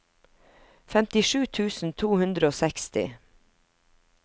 femtisju tusen to hundre og seksti